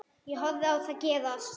Ég horfi á það gerast.